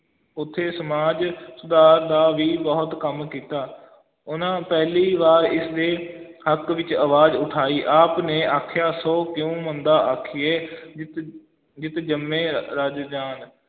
ਉਥੇ ਸਮਾਜ ਸੁਧਾਰ ਦਾ ਵੀ ਬਹੁਤ ਕੰਮ ਕੀਤਾ ਉਹਨਾਂ ਪਹਿਲੀ ਵਾਰ ਇਸ ਦੇ ਹੱਕ ਵਿੱਚ ਆਵਾਜ਼ ਉਠਾਈ, ਆਪ ਨੇ ਆਖਿਆ, ਸੋ ਕਿਉਂ ਮੰਦਾ ਆਖੀਐ ਜਿਤ ਜਿਤ ਜੰਮੇ ਰਾ~ ਰਾਜਾਨ।